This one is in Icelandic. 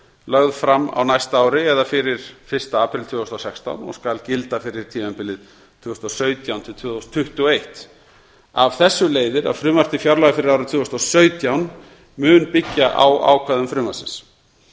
lögð fram á næsta ári fyrir fyrsta apríl tvö þúsund og sextán og skal gilda fyrir tímabilið tvö þúsund og sautján til tvö þúsund tuttugu og eitt af þessu leiðir að frumvarp til fjárlaga fyrir árið tvö þúsund og sautján mun byggja á ákvæðum frumvarpsins